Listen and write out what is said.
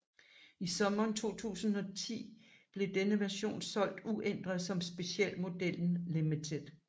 I sommeren 2010 blev denne version solgt uændret som specialmodellen Limited